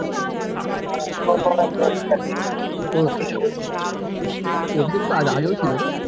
ও কিছু অভিষেক দা আগেও ছিলনা